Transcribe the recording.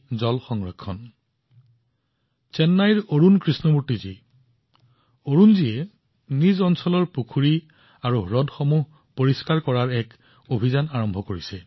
চেন্নাইৰ এজন সতীৰ্থ হল অৰুণ কৃষ্ণমূৰ্তিজী অৰুণজীয়ে তেওঁৰ অঞ্চলৰ পুখুৰী আৰু হ্ৰদ পৰিষ্কাৰ কৰিবলৈ এটা অভিযান চলাই আছে